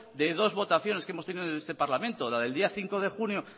de dos votaciones que hemos tenido en este parlamento la del día cinco de junio